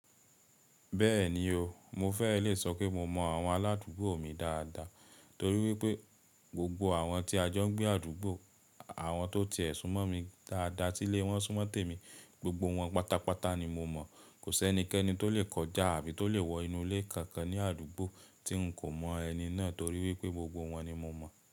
Bẹ́ẹ̀ni o, mo fẹ́ lè sọ pé mo mọ àwọn aládùúgbò mi dáadáa torí wípé gbogbo àwọn tí a jọ n gbé àdúgbò, àwọn tó ti ẹ̀ sún mọ́ mi dáadáa, tí lè wọ́n sún mọ́ tèmi, gbogbo wọn pátápátá ni mo mọ̀. Kò sé ẹnikẹ́ni tó lè kọjá tàbí tó lè wọ inú ilé kankan ní àdúgbò tí n kò mọ ẹni náà torí wípé gbogbo wọn ni mo mọ̀